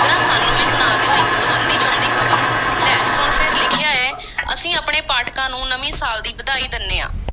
ਜ਼ਰਾ ਸਾਨੂੰ ਵੀ ਸੁਣਾ ਦਿਓ, ਇੱਕ-ਦੋ ਅੱਧੀ ਚੋਂਦੀ ਖ਼ਬਰ, ਲੈ ਸੁਣ ਫੇਰ, ਲਿਖਿਆ ਐ, ਅਸੀਂ ਆਪਣੇ ਪਾਠਕਾਂ ਨੂੰ ਨਵੇਂ ਸਾਲ ਦੀ ਵਧਾਈ ਦਿੰਦੇ ਹਾਂ।